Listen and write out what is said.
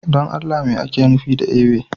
Don Allah me ake nufi da ewe?